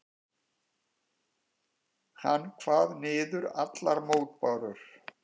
Hann kvað niður allar mótbárur.